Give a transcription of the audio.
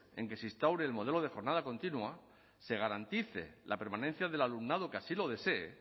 que se instaure el modelo de jornada continua se garantice la permanencia del alumnado que así lo desee